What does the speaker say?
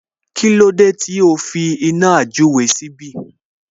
Kílódé tí o fi iná àjúre síbí?